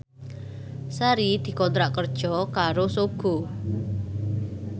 Sari dikontrak kerja karo Sogo